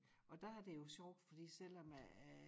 Og der er det jo sjovt fordi selvom at at